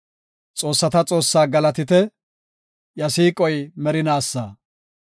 Xoossata Xoossaa galatite! Iya siiqoy merinaasa.